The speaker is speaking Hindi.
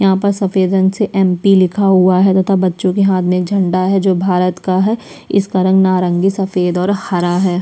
यहाँ पर सफ़ेद रंग से एम. पी. लिखा हुआ है बच्चो के हाथ में एक झंडा है जो भारत का है इसका रंग नारंगी सफ़ेद और हरा है।